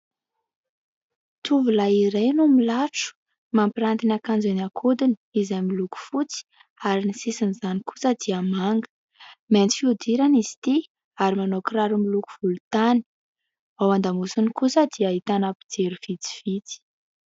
Tovolahy iray no milatro, mampiranty ny ankanjo eny an-kodiny izay miloko fotsy ary ny sisin'izany kosa dia manga. Mainty fihodirana izy itỳ ary manao kiraro miloko volontany. Ao an-damosiny kosa dia ahitana mpijery vitsivitsy.